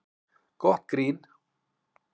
Gott grín